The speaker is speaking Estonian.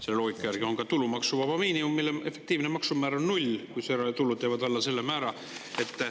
Selle loogika järgi on ka tulumaksuvaba miinimumi puhul efektiivne maksumäär null, kui tulud jäävad alla selle määra.